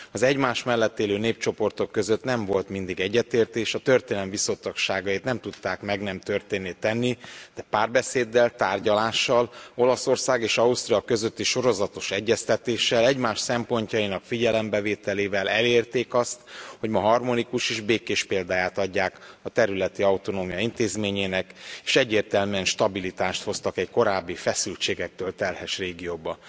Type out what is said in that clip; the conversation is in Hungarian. Az egymás mellett élő népcsoportok között nem volt mindig egyetértés, a történelem viszontagságait nem tudták meg nem történtté tenni, de párbeszéddel, tárgyalással, Olaszország és Ausztira közötti sorozatos egyeztetéssel, egymás szempontjainak figyelembevételével elérték azt, hogy ma harmonikus és békés példáját adják a területi autonómia intézményének, és egyértelműen stabilitást hoztak egy korábbi feszültségektől terhes régióba.